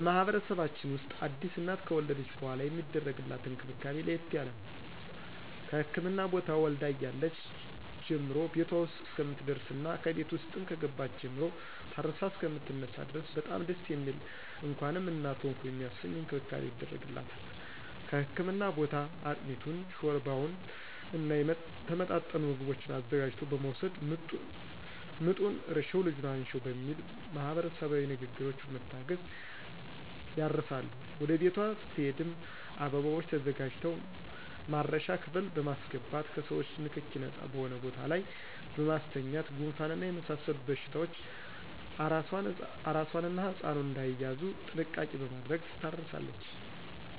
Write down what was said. በማህበረሰባችን ውስጥ አዲስ እናት ከወለደች በሗላ የሚደረግላት እንክብካቤ ለየት ያለ ነው። ከህክምና ቦታ ወልዳ እያለች ጀምሮ ቤቷ ውስጥ እስከምትደርስና ከቤት ውስጥም ከገባች ጀምሮ ታርሳ እሰከምትነሳ ድረስ በጣም ደስ የሚል እንኳንም እናት ሆንሁ የሚያሰኝ እንክብካቤ ይደረግላታል ከህክምና ቦታ አጥሚቱን: ሾርባውና የተመጣጠኑ ምግቦችን አዘጋጅቶ በመወሰድ ምጡን እርሽው ልጁን አንሽው በሚል ማህበረሰባዊ ንግግሮች በመታገዝ ያርሳሉ ወደ ቤቷ ስትሄድም አበባዎች ተዘጋጅተው ማረሻ ክፍል በማሰገባት ከሰዎቾ ንክኪ ነጻ በሆነ ቦታ ላይ በማስተኛት ጉንፋንና የመሳሰሉት በሽታዎች አራሷና ህጻኑ እዳይያዙ ጥንቃቄ በማድረግ ትታረሳለች።